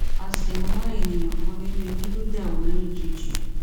a ṣì ń wá ènìyàn kan nínú ilé tó dáwó lójijì